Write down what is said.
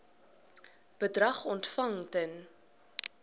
bedrag ontvang ten